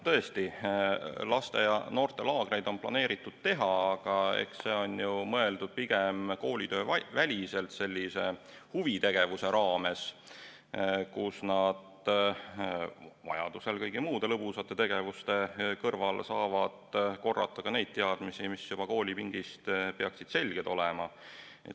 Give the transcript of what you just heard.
Tõesti, laste- ja noortelaagreid on planeeritud teha, aga eks need on mõeldud pigem koolitööväliselt sellise huvitegevuse raames, kus nad vajaduse korral kõigi muude lõbusate tegevuste kõrval saavad korrata ka neid teadmisi, mis juba koolipingist peaksid selged olema.